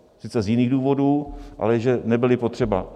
Sice z jiných důvodů, ale že nebyly potřeba.